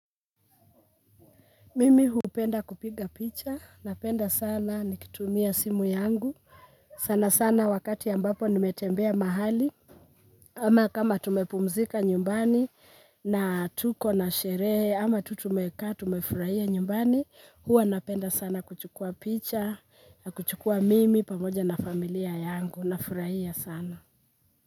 Mimi hupenda kupiga picha napenda sana nikitumia simu yangu sana sana wakati ambapo nimetembea mahali ama kama tumepumzika nyumbani na tuko na sherehe ama tu tumekaa tumefurahia nyumbani huwa napenda sana kuchukua picha na kuchukua mimi pamoja na familia yangu nafurahia sana.